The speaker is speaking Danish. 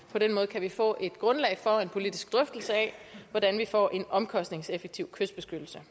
på den måde kan få et grundlag for en politisk drøftelse af hvordan vi får en omkostningseffektiv kystbeskyttelse